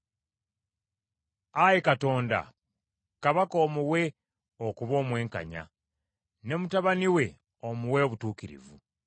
Ayi Katonda, kabaka omuwe okuba omwenkanya, ne mutabani we omuwe obutuukirivu,